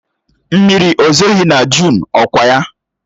Mmiri ezoghị na Jụn, ọ kwa ya?